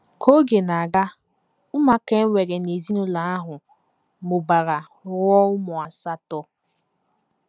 Ka oge na - aga, ụmụaka e nwere n’ezinụlọ ahụ mụbara ruo ụmụ asatọ.